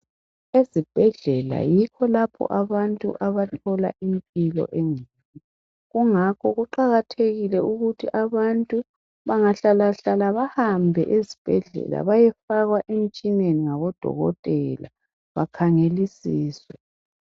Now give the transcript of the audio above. Ezibhedlela yikho lapho abantu abathola impilo engcono kungakho kuqakathekile ukuthi abantu bengahlalahlala bahambe esibhedlela bayefakwa emtshineni ngabo dokotela bakhangelisiswe.